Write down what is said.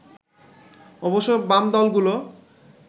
অবশ্য বাম দলগুলো